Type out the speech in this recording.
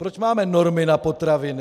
Proč máme normy na potraviny?